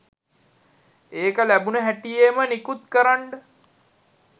ඒක ලැබුණු හැටියෙම නිකුත් කරන්ඩ